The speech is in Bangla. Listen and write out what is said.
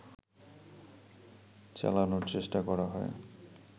চালানোর চেষ্টা করা হয়